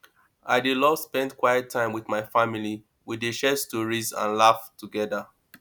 i dey love spend quiet time with my family we dey share stories and laugh together